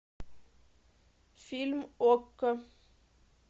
фильм окко